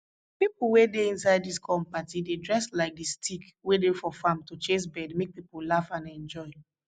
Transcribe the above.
pipo wey dey inside dis corn party dey dress like di stick wey dey for farm to chase bird make pipo laugh and enjoy